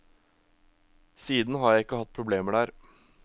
Siden har jeg ikke hatt problemer der.